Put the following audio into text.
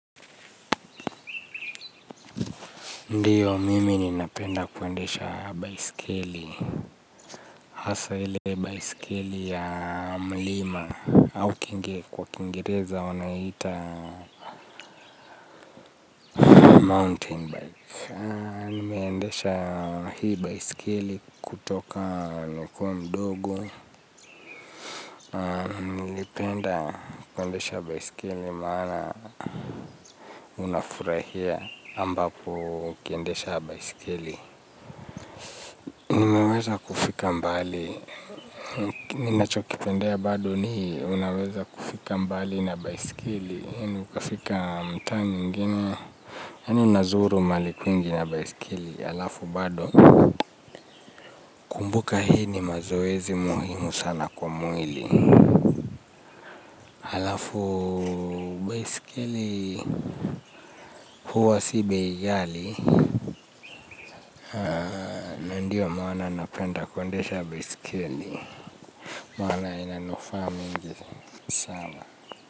Ndiyo, mimi ninapenda kwendesha baisikili, hasa hile baisikili ya mlima, au kinge kwa kingereza wanaita mountain bike. Nimeendesha hii baisikili kutoka nikuwa mdogo, nilipenda kwendesha baisikili maana unafurahia ambapo ukiendesha baisikili. Unaweza kufika mbali. Ninachokipendea bado ni unaweza kufika mbali na baiskeli. Yaani ukafika mtaa nyingine yaani nazuru mahali kwingi na baiskeli halafu bado nakumbuka hii ni mazoezi muhimu ya baiskeli halafu baiskeli huwa si bei ghali. Ndiyo maana napenda kuendesha baiskeli. Maana inanufaa mingi sana.